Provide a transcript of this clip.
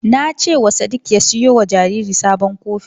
Na ce sadik ya siyo wa jariri sabon kofin.